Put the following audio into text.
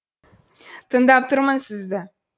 тыңдап тұрмын сізді